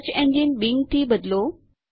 search engine Bing થી બદલો